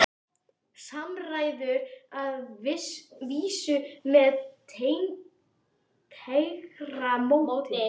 Samræður að vísu með tregara móti.